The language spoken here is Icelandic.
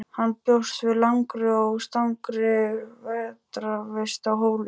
Hann bjóst við langri og strangri vetrarvist á Hólum.